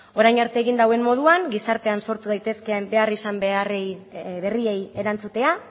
orain arte egin duen moduan gizartean sortu daitezkeen behar izan beharrei berriei erantzutea